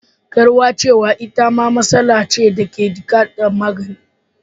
Kauracewa itama matsala ce dake bukatar magani.